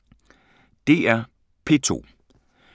DR P2